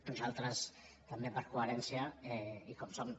nosaltres també per coherència i com som